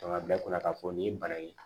a bila u kunna k'a fɔ nin ye bana in ye